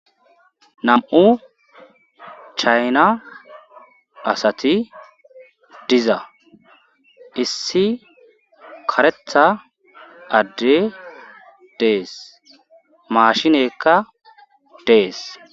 Nam7u chayna asati diza issi karetha adde dees maashinekka dees.